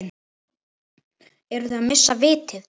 Eru þeir að missa vitið?